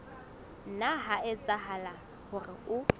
nna ha etsahala hore o